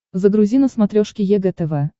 загрузи на смотрешке егэ тв